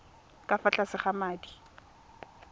ka fa tlase ga madi